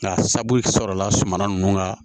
Nka sabula suman nunnu ka